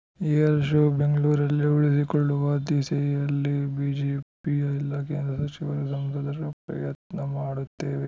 air show ಬೆಂಗಳೂರಲ್ಲೇ ಉಳಿದಿಕೊಳ್ಳುವ ದಿಸೆಯಲ್ಲಿ ಬಿಜೆಪಿಯ ಎಲ್ಲ ಕೇಂದ್ರ ಸಚಿವರು ಸಂಸದರು ಪ್ರಯತ್ನ ಮಾಡುತ್ತೇವೆ